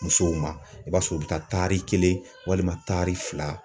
Musow ma i b'a sɔrɔ u bɛ taa tari kelen walima tari fila.